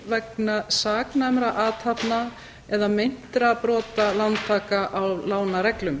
vegna saknæmra athafna eða meintra brota lántaka á lánareglum